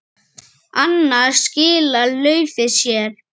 Annars skilar laufið sér.